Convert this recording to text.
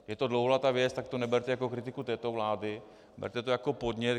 Je to dlouholetá věc, tak to neberte jako kritiku této vlády, berte to jako podnět.